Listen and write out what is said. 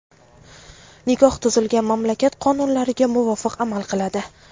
nikoh tuzilgan mamlakat qonunlariga muvofiq amal qiladi.